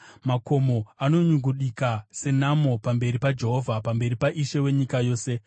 Makomo anonyungudika senamo pamberi paJehovha, pamberi paIshe wenyika yose.